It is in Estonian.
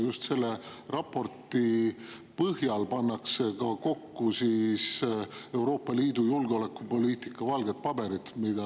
Just selle raporti põhjal pannakse kokku Euroopa Liidu julgeolekupoliitika valget paberit.